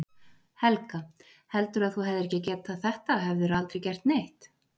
Helga: Heldurðu að þú hefðir ekki getað þetta hefðirðu aldrei gert neitt?